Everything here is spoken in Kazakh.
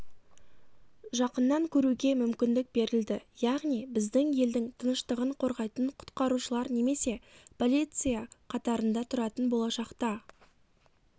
жақыннан көруге мүмкіндік берілді яғни біздің елдің тыныштығын қорғайтын құтқарушылар немесе полиция қатарында тұратын болашақта